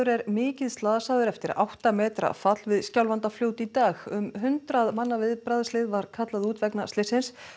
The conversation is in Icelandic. er mikið slasaður eftir átta metra fall við Skjálfandafljót í dag um hundrað manna viðbragðslið var kallað út vegna slyssins